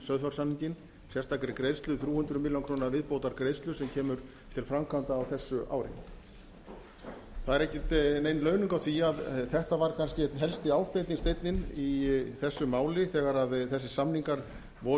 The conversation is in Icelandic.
sauðfjársamninginn sérstakri greiðslu þrjú hundruð milljóna króna viðbótargreiðslu sem kemur til framkvæmda á þessu ári það er engin launung á því að þetta var kannski einn helsti ásteytingarsteinninn í þessu máli þegar þessir samningar voru